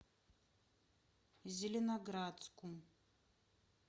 зеленоградску